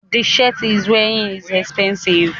The shirt he is wearining is epensive